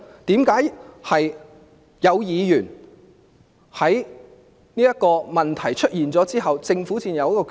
為何問題出現了之後，政府才有決定？